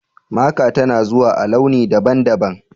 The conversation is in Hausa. Maka tana zuwa a launi daban-daban.